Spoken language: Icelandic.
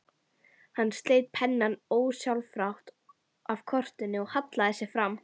Hann sleit pennann ósjálfrátt af kortinu og hallaði sér fram.